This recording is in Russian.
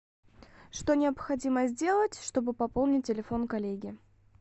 что необходимо сделать чтобы пополнить телефон коллеги